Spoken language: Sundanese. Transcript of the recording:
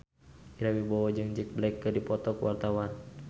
Ira Wibowo jeung Jack Black keur dipoto ku wartawan